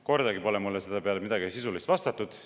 Kordagi pole mulle selle peale midagi sisulist vastatud.